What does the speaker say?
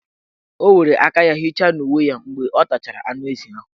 O were aka ya hicha n' uwe ya mgbe ọ tachara anụezi.